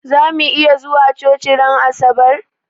Zamu iya zuwa coci ran asabar?